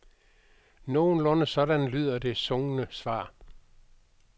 Nogenlunde sådan lyder det sungne svar.